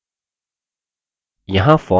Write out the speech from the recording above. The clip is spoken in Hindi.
यहाँ form है